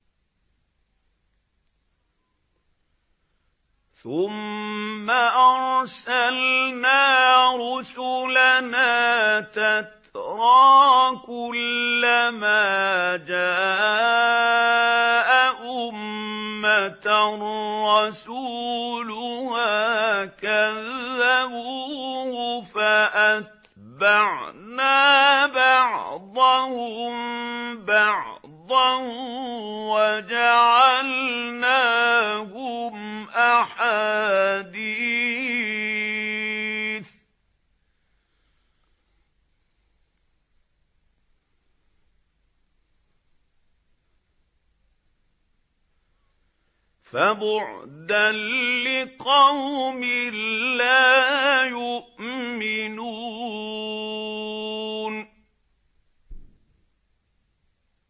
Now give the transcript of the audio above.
ثُمَّ أَرْسَلْنَا رُسُلَنَا تَتْرَىٰ ۖ كُلَّ مَا جَاءَ أُمَّةً رَّسُولُهَا كَذَّبُوهُ ۚ فَأَتْبَعْنَا بَعْضَهُم بَعْضًا وَجَعَلْنَاهُمْ أَحَادِيثَ ۚ فَبُعْدًا لِّقَوْمٍ لَّا يُؤْمِنُونَ